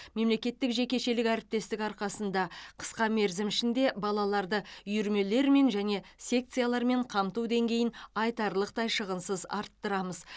мемлекеттік жекешелік әріптестік арқасында қысқа мерзім ішінде балаларды үйірмелермен және секциялармен қамту деңгейін айтарлықтай шығынсыз арттырамыз